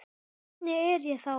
Hvernig er ég þá?